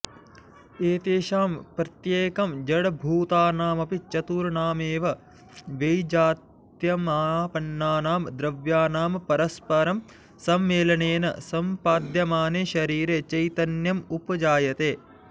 एतेषां प्रत्येकं जडभूतानामपि चतुर्णामेव वैजात्यमापन्नानां द्रव्याणां परस्परं सम्मेलनेन सम्पाद्यमाने शरीरे चैतन्यमुपजायते